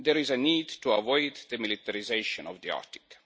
There is a need to avoid the militarisation of the Arctic.